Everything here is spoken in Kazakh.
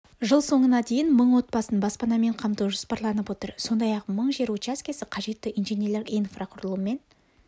жыл соңына дейін мың отбасын баспанамен қамту жоспарланып отыр сондай-ақ мың жер учаскесі қажетті инженерлік инфрақұрылыммен